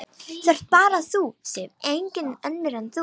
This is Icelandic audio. Það ert bara þú, Sif, engin önnur en þú!